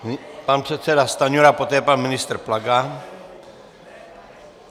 Pan předseda Stanjura, poté pan ministr Plaga.